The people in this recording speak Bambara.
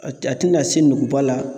A te a te na se nuguba la